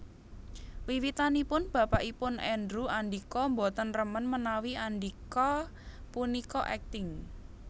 Wiwitanipun bapakipun Andrew Andika boten remen menawi Andika punika akting